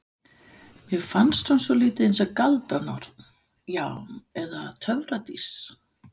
Mér fannst hún svolítið eins og galdranorn, já eða töfradís.